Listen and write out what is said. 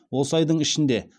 осы айдың ішінде